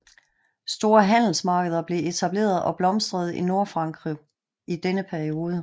Store handelsmarkeder blev etableret og blomstrede i Nordfrankrig i denne periode